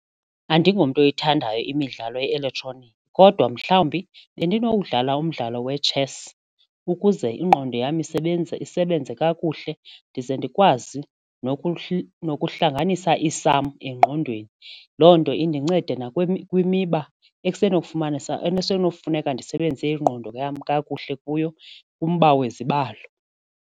Andingomntu oyithandayo imidlalo ye-elektroniki kodwa mhlawumbi bendinowudlala umdlalo we-chess ukuze ingqondo yam isebenze kakuhle ndize ndikwazi nokuhlanganisana i-sum engqondweni. Loo nto indinceda kwimiba kufuneka ndisebenzise ingqondo yam kakuhle kuyo kumba wezibalo.